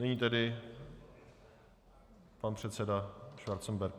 Nyní tedy pan předseda Schwarzenberg.